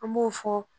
An b'o fɔ